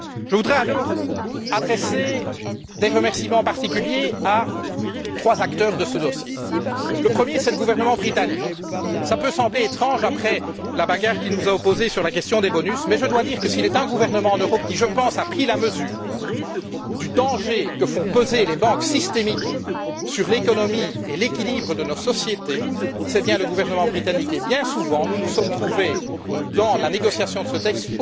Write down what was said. Je voudrais adresser des remerciements particuliers à trois acteurs de ce dossier. Le premier, c'est le gouvernement britannique. Cela peut sembler étrange après la bagarre qui nous a opposés sur la question des bonus, mais je dois dire que s'il est un gouvernement en Europe qui, à mon sens, a pris la mesure du danger que font peser les banques systémiques sur l'économie et l'équilibre de nos sociétés, c'est bien le gouvernement britannique et, bien souvent, ce gouvernement s'est trouvé, au cours de la négociation de ce